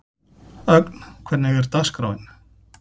Ögn, hvernig er dagskráin?